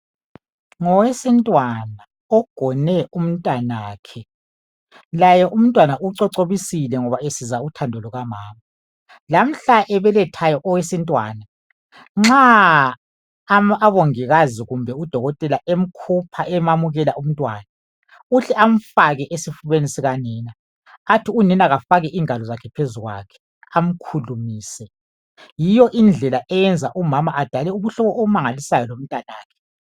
Ngowesintwana ogone umntwanakhe laye umntwana ucocobisile ngoba esizwa uthando lukamama lamhla ebelethayo owesintwana nxa obongikazi kumbe udokotela emkhupha emamukela umntwana uhle amfake esifubeni sika nini athi unina kafake ingalo zakhe phezukwakhe amkhulumise yiyo indlela eyenza umama adala ubuhlobo obumangalisayo lomntwanakhe.